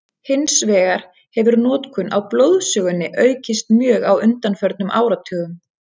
Hins vegar hefur notkun á blóðsugunni aukist mjög á undanförnum áratugum.